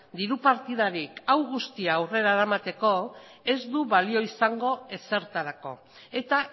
diru partidarik hau guztia aurrera eramateko ez du balio izango ezertarako eta